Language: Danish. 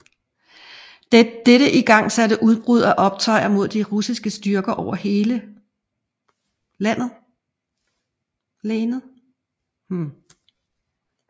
Dette igangsatte udbrud af optøjer mod de russiske styrker over hele lanet